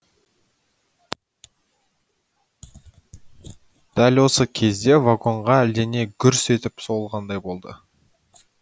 дәл осы кезде вагонға әлдене гүрс етіп соғылғандай болды